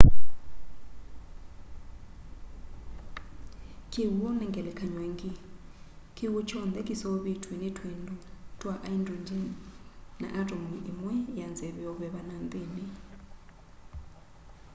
kiwu ni ngelekany'o ingi kiwu kyonthe kiseuvitw'e ni twindu twa aindrongen na atomu imwe ya nzeve yo veva na nthini